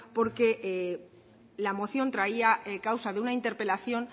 porque la moción traía causa de una interpelación